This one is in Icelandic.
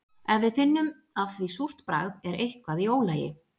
Ef við finnum af því súrt bragð er eitthvað í ólagi.